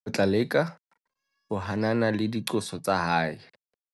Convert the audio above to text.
o tla leka ho hanana le diqoso tsa hae